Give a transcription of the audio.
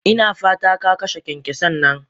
Ina fata kaka she kyankyasan nan?